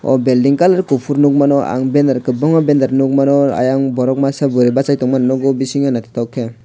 o belding colour kopor nogmano ang benner kobangma benner nogmano ayang borok masa boroi basai tongma nogo bisingo naitotok ke.